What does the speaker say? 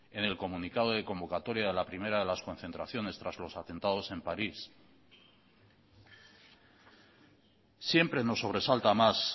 en el comunicado de convocatoria a la primera de las concentraciones tras los atentados en parís siempre nos sobresalta más